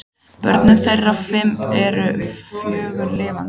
Börn þeirra voru fimm en fjögur lifa.